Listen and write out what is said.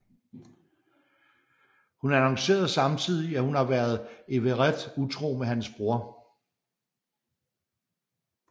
Hun annoncerer samtidig at hun har været Everett utro med hans bror